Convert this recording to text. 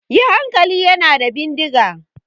Yi hankali! Yana da bindiga!